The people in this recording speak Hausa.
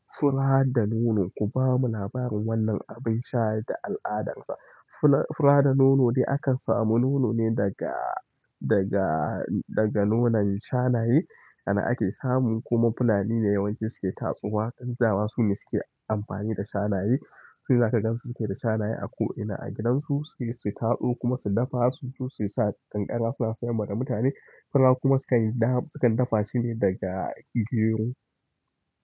Fura da nono, ku bamu labarin wannan abin sha da al'adarsa. Fura da nono ne akan samu nono ne daga, daga, daga nonon shanaye anan ake samu kuma fulani ne yawanci suke tatsuwa. Dama sune suke amfani da shanaye. Sune za ka gan su suke da shanaye a ko'ina a gidansu, sai su tatso kuma su dafa su ci su sa ƙanƙara suna sayarwa da mutane. Fura kuma sukan yi da ham, sukan dafa shine daga gigiyon.